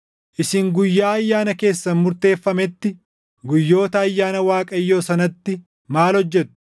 Isin guyyaa ayyaana keessan murteeffameetti, guyyoota ayyaana Waaqayyoo sanatti maal hojjetu?